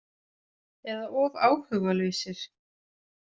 Eða of áhugalausir.